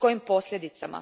S kojim posljedicama?